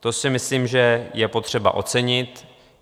To si myslím, že je potřeba ocenit.